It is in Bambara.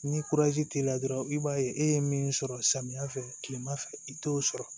Ni t'i la dɔrɔn i b'a ye e ye min sɔrɔ samiyɛ fɛ kilema fɛ i t'o sɔrɔ